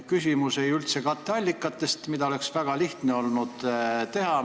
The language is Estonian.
Küsimus ei ole üldse katteallikates, mida oleks väga lihtne olnud kohendada.